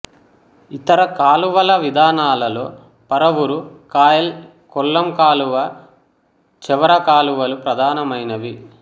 ఇతర కాలువల విధానాలలో పరవూరు కాయల్ కొల్లం కాలువ చవర కాలువలు ప్రధానమైనవి